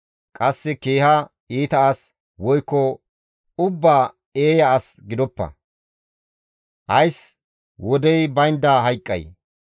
Qasse keeha iita as, woykko ubbaa eeya as gidoppa; ne ays wodey baynda hayqqay?